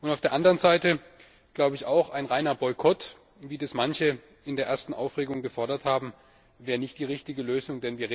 Auf der anderen Seite glaube ich auch, ein reiner Boykott, wie manche das in der ersten Aufregung gefordert haben, wäre nicht die richtige Lösung.